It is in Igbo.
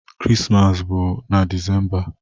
Krismas bụ na December